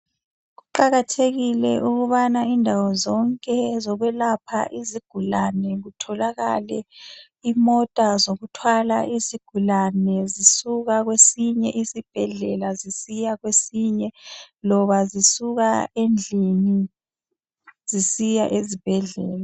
Kuqakathekile ukubana indawo zonke zokwelapha izigulane kutholakale imota zokuthwala izigulane zisuka kwesinye isibhedlela zisiya kwesinye, loba zisuka endlini zisiya ezibhedlela.